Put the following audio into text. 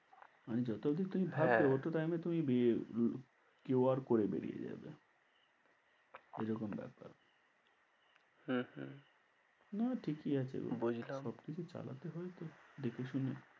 মানে যত দিন তুমি ভাবছ ওতো time এ তুমি কেউ আর করে বেরিয়ে যাবে এরকম ব্যপার হম বুঝলাম। না ঠিকই আছে গো সব কিছু চালাতে হবে তো দেখে শুনে।